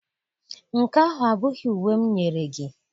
Nke ahụ abụghị uwe m nyere gị.